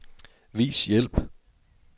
Vis hjælp.